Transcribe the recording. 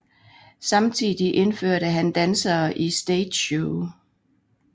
Samtidig indførte han dansere i stageshow